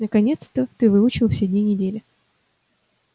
наконец-то ты выучил все дни недели